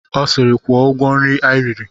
Ọ sịịrị, kwụọ ụgwọ nri i riri!